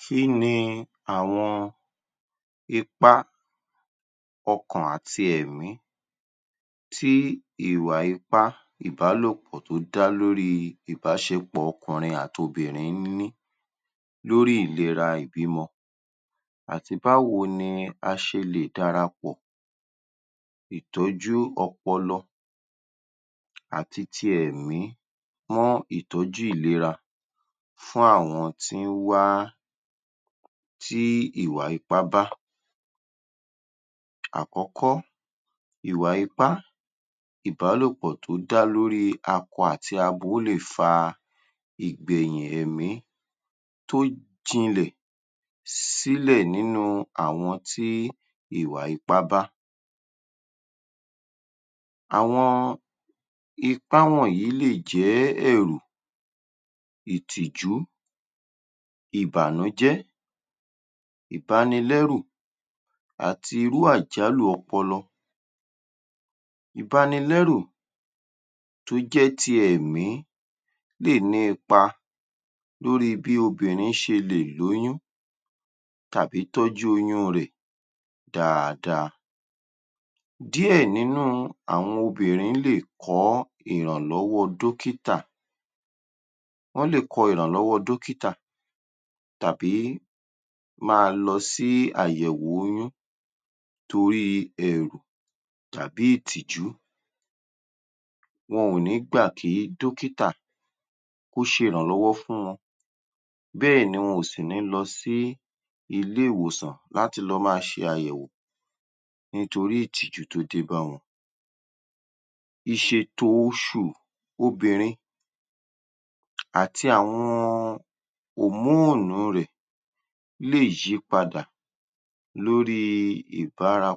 Kí ni àwọn ipá ọkàn àti ẹ̀mí tí ìwà ipá ìbálòpọ̀ tó dá lóri ìbáṣepọ̀ ọkùnrin àti obìnrin ń ní lórí ìlera ìbímọ àti báwo ni a ṣe lè darapọ̀ ìtọ́jú ọpọlọ àti ti ẹ̀mí mọ́ ìtọ́jú ìlera fún àwọn tí ń wá tí ìwà ipá bá. Àkọ́kọ́, ìwà ipá ìbálòpọ̀ tó dá lóríh akọ àti abo lè fa ìgbẹ̀yìn ẹ̀mí tó jinlẹ̀ sílẹ̀ nínú àwọn tí ìwà ipá bá. Àwọn ipá wọ̀nyí lè jẹ́ ẹ̀rù, ìtìjú, ìbànújẹ́, ìbanilẹ́rù àti irú àjálù ọpọlọ. Ìbanilẹ́rù tó jẹ́ ti ẹ̀mí lè ní ipa lórí bí obìnrin ṣe lè lóyún tàbí tọ́jú oyún rẹ̀ dáadáa. Díẹ̀ nínú àwọn obìnrin lè kọ́ ìrànlọ́wọ́ dọ́kítà wọ́n lè kọ ìrànlọ́wọ́ dọ́kítà tàbí máa lọ sí àyẹ̀wò oyún toríh ẹ̀rù tàbí ìtìjú wọn ò ní gbà kí dọ́kítà kó ṣe ìrànlọ́wọ́ fún wọn bẹ́ẹ̀ ni wọn ò sì ní lọ sí ilé-ìwòsàn láti lọ máa ṣàyẹ̀wò nítorí ìtìjú tó dé bá wọn. Ìṣèto oṣù obìnrin àti àwọn hormone rẹ̀ lè yípadà lórí ìbára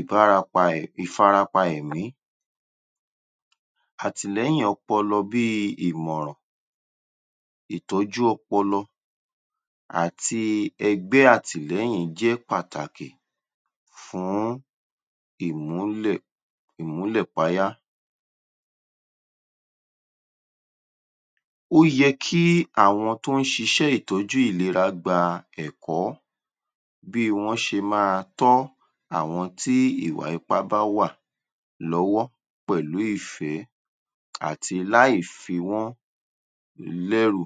ibárapa ìfarapa ẹ̀mí àtìlẹ́yìn ọpọlọ bí i ìmọ̀ràn, ìtọ́jú ọpọlọ àti ẹgbẹ́ àtìlẹ́yìn jẹ́ pàtàkì fún ìmúlẹ̀ ìmúlẹ̀payá. Ó yẹ kí àwọn tó ń ṣiṣẹ́ ìtọ́jú ìlera gba ẹ̀kọ́ bí wọ́n ṣe máa tọ́ àwọn tí ìwà ipá bá wà lọ́wọ́ pẹ̀lú ìfẹ́ àti láì fi wọ́n lẹ́rù.